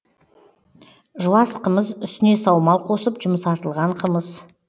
жуас қымыз үстіне саумал қосып жұмсартылған қымыз